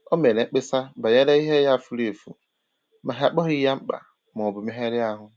O mere mkpesa banyere ihe ya fùrù efù, ma ha akpọghị ya mkpa maọbụ megharịa ahụ